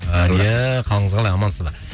әлия қалыңыз қалай амансыз ба